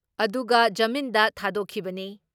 ꯑꯗꯨꯒ ꯖꯃꯤꯟꯗ ꯊꯥꯗꯣꯛꯈꯤꯕꯅꯤ ꯫